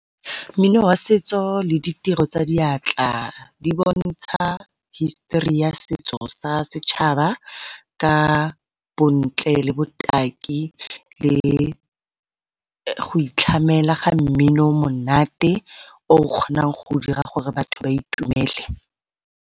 Mmino wa setso le ditiro tsa diatla di bontsha hisitori ya setso sa setšhaba ka bontle le botaki le go itlhamela ga mmino o monate o o kgonang go dira gore batho ba itumele.